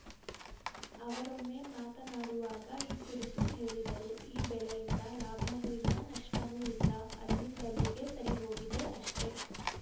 ಅವರೊಮ್ಮೆ ಮಾತನಾಡುವಾಗ ಈ ಕುರಿತು ಹೇಳಿದರು ಈ ಬೆಳೆಯಿಂದ ಲಾಭನೂ ಇಲ್ಲ ನಷ್ಟನೂ ಇಲ್ಲ ಅಲ್ಲಿಂದಲ್ಲಿಗೆ ಸರಿಹೋಗಿದೆ ಅಷ್ಟೇ